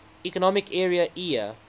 economic area eea